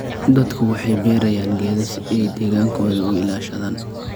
Dadku waxay beerayaan geedo si ay deegaankooda u ilaashadaan.